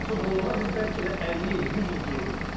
Avropa futbolundan biz bəlkə də 50 il, 100 il geriyik.